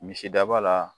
Misidaba la